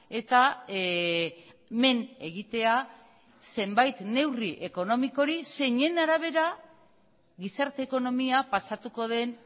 eta men egitea zenbait neurri ekonomikori zeinen arabera gizarte ekonomia pasatuko den